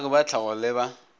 baagi ba tlhago le ba